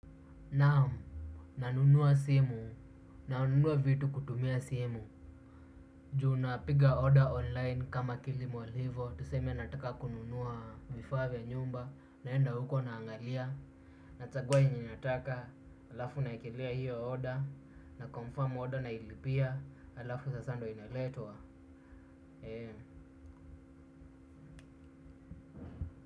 Naamu nanunua simu, nanunua vitu kutumia simu juu napiga order online kama kilimol hivo, tuseme nataka kununua vifaa vya nyumba naenda huko naangalia nachagua yenye nataka halafu naekelea hiyo order naconfirm order nailipia halafu sasa ndio inaletwa.